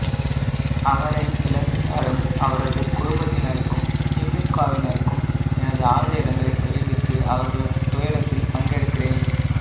அவரை இழந்து வாடும் அவரது குடும்பத்தினருக்கும் திமுகவினருக்கும் எனது ஆழ்ந்த இரங்கலை தெரிவித்து அவர்களது துயரத்தில் பங்கெடுக்கிறேன்